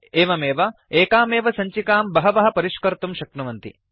एवमेव एकामेव सञ्चिकां बहवः परिष्कर्तुं शक्नुवन्ति